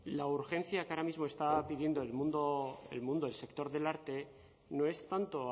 la urgencia que ahora mismo está pidiendo el mundo del sector del arte no es tanto